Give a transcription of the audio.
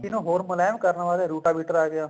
ਨੂੰ ਹੋਰ ਮੁਲਾਇਮ ਕਰਨ ਵਾਸਤੇ ਰੂਟਾਵੇਟਰ ਆਗਿਆ